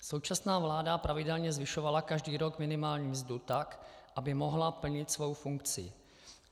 Současná vláda pravidelně zvyšovala každý rok minimální mzdu tak, aby mohla plnit svou funkci.